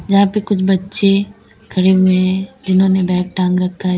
यहां पर कुछ बच्चे खड़े हुए जिन्होंने बैग टांग रखा है।